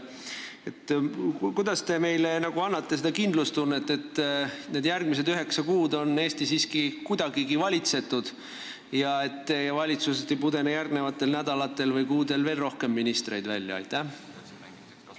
Kuidas te annate meile seda kindlustunnet, et järgmised üheksa kuud on Eesti siiski kuidagigi valitsetud ja et teie valitsusest ei pudene järgmistel nädalatel või kuudel veel rohkem ministreid välja?